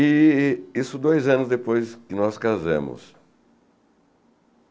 E isso dois anos depois que nós casamos.